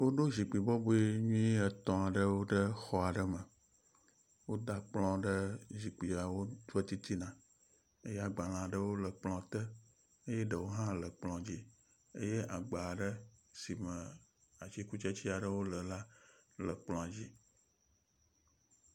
Woɖo zikpui bɔbɔe nyui etɔ̃ aɖewo ɖe exɔ aɖe me, woda kplɔwo ɖe zikpuiawo ƒe titina eye agbalẽ aɖewo le ekplɔa te eye ɖewo hã le ekplɔ dzi eye agba aɖe si me atikutsetse aɖewo le la le kplɔa dzi.